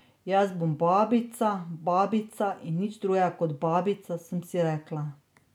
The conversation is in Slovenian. Jaz bom babica, babica in nič drugega kot babica, sem si rekla.